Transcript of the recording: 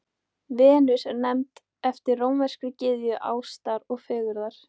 Venus er nefnd eftir rómverskri gyðju ástar og fegurðar.